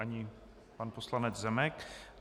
Ani pan poslanec Zemek.